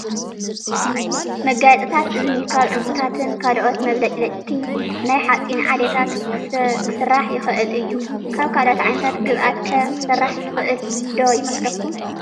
መጋየፅታት እዝኒ ካብ ዑንቅታትን ካልኦት መብለጭለጭቲ ናይ ሓፂን ዓሌታትን ክስራሕ ይኽእል እዩ፡፡ ካብ ካልእ ዓይነት ግብኣት ከ ክስራሕ ዝኽእል ዶ ይመስለኩም?